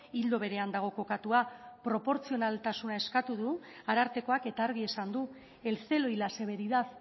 ildo berean dago kokatua proportzionaltasuna eskatu du arartekoak eta argi esan du el celo y la severidad